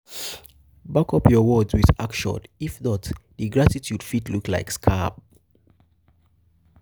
back up your words with action if not di gratitude fit look like scam